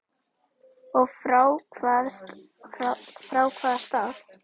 Og frá hvaða stað?